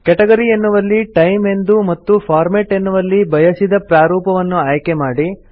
category ಎನ್ನುವಲ್ಲಿ time ಎಂದು ಮತ್ತು ಫಾರ್ಮ್ಯಾಟ್ ಎನ್ನುವಲ್ಲಿ ಬಯಸಿದ ಪ್ರಾರೂಪವನ್ನು ಆಯ್ಕೆ ಮಾಡಿ